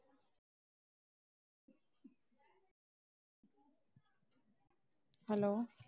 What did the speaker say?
Hello